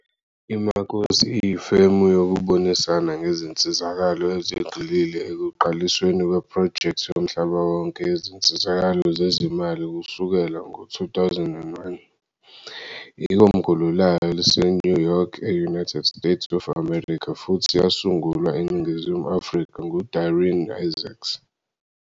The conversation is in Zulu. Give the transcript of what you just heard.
IMakosi iyifemu yokubonisana ngezinsizakalo ezigxile ekuqalisweni kwephrojekthi yomhlaba wonke yezinsizakalo zezezimali kusukela ngo-2001. Ikomkhulu layo liseNew York, e-United States of America futhi yasungulwa eNingizimu Afrika nguDarren Isaacs.